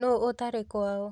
Nũ ũtarĩ kwao?